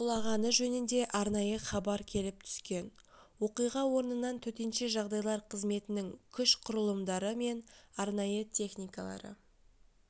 құлағаны жөнінде арнайы хабар келіп түскен оқиға орнынан төтенше жағдайлар қызметінің күш-құрылымдары мен арнайы техникалары